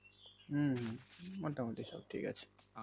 হম মোটামাটি সব ঠিক আছে